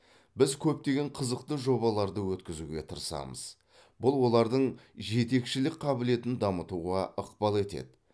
біз көптеген қызықты жобаларды өткізуге тырысамыз бұл олардың жетекшілік қабілетін дамытуға ықпал етеді